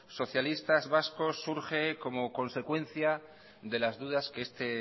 socialistas vascos surge como consecuencia de las dudas que este